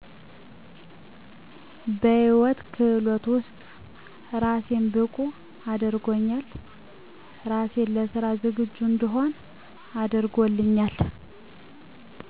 በህይወት ክህሎት ውስጥ ራሴን ብቁ አድርጎኛል ራሴን ለስራ ዝግጁ እንድሆን አድርጎኛል